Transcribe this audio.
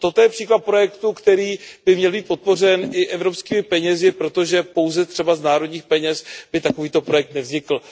Toto je příklad projektu, který by měl být podpořen i evropskými penězi, protože pouze třeba z národních peněz by takovýto projekt nevznikl.